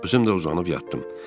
Özüm də uzanıb yatdım.